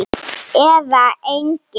Eða engin?